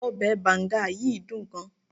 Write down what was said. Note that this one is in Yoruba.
obe banga yìí dun gan